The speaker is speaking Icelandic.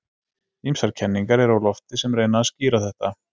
Ýmsar kenningar eru á lofti sem reyna að skýra þetta.